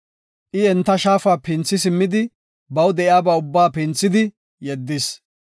I enta shaafa pinthi simmidi baw de7iyaba ubbaa pinthidi yeddis.